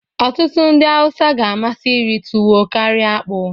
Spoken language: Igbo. ọtụtụ ndị Hausa ga-amasị iri tuwo karịa akpu